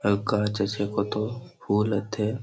আর গাছ আছে কত ফুল আথে ।